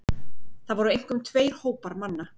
Það voru einkum tveir hópar manna.